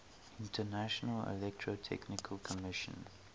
international electrotechnical commission